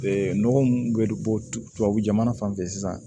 Ee nɔgɔ mun bɛ bɔ tubabu jamana fan fɛ sisan